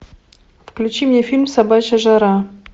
включи мне фильм собачья жара